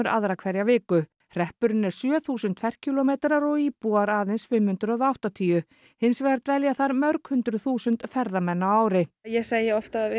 aðra hverja viku hreppurinn er sjö þúsund ferkílómetrar og íbúar aðeins fimm hundruð og áttatíu hins vegar dvelja þar mörg hundruð þúsund ferðamenn á ári ég segi oft að við